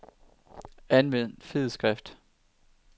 Anvend fed skrift.